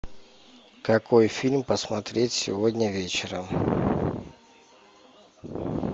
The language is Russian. какой фильм посмотреть сегодня вечером